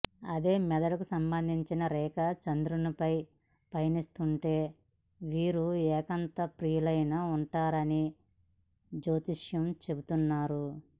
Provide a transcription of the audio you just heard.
అదే మెదడుకు సంబంధించిన రేఖ చంద్రునిపై పయనిస్తుంటే వీరు ఏకాంతప్రియులై ఉంటారని జ్యోతిష్యులు చెపుతున్నారు